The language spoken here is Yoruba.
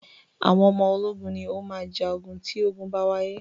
Àwọn ọmọ ológun ni o máa ja ogun tí ogun bá wáyé.